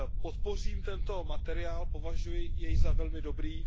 Podpořím tento materiál, považuji jej za velmi dobrý.